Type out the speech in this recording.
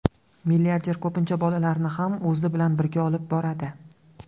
Milliarder ko‘pincha bolalarini ham o‘zi bilan birga olib boradi.